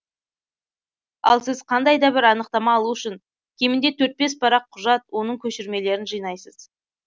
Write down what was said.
ал сіз қандайда бір анықтама алу үшін кемінде төрт бес парақ құжат оның көшірмелерін жинайсыз